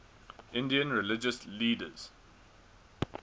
indian religious leaders